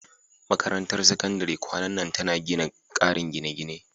Makarantar Sakandare kwanan nan tana gina ƙarin gine-gine.